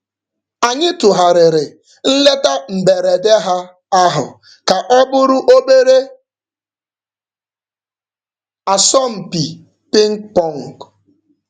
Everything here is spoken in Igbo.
Anyị tụgharịrị nleta mberede ha ahu ka ọ bụrụ obere asọmpi pịng pọng.